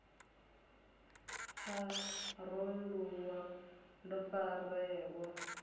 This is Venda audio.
pharou ḽu wa ḓo farelwa